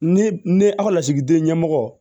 Ni ne a ka lasigiden ɲɛmɔgɔ